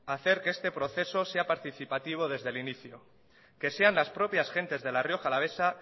hacer que este proceso sea participativo desde el inicio que sean las propias gentes de la rioja alavesa